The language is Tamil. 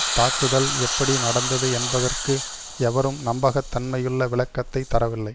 தாக்குதல் எப்படி நடந்தது என்பதற்கு எவரும் நம்பக தன்மையுள்ள விளக்கத்தை தரவில்லை